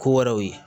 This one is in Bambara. Ko wɛrɛw ye